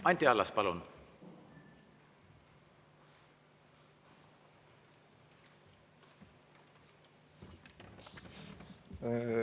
Anti Allas, palun!